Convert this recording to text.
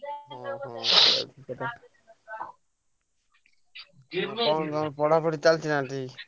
ହଁ ହଁ ସେଇଟା ବି ଠିକ କଥା। କଣ ତମ ପଢାପଢି ଚାଲିଛି ନା ଠିକ?